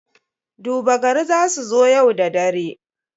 Duba gari za su zo yau da dare.